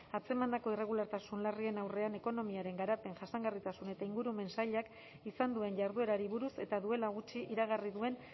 atzemandako irregulartasun larrien aurrean ekonomiaren garapen jasangarritasun eta ingurumen sailak izan duen jarduerari buruz eta duela gutxi iragarri duen